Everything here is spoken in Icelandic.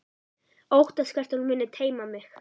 Óttast hvert hún muni teyma mig.